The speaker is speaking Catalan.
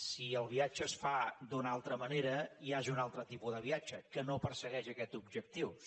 si el viatge es fa d’una altra manera ja és un altre tipus de viatge que no persegueix aquests objectius